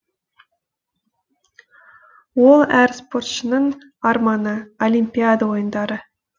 ол әр спортшының арманы олимпиада ойындары